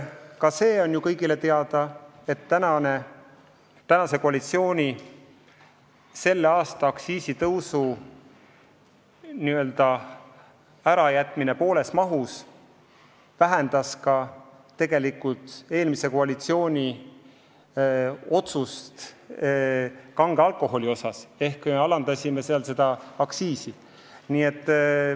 Ka see on kõigile teada, et praegune koalitsioon otsustas tänavu alkoholiaktsiisi tõsta plaanitust poole vähem.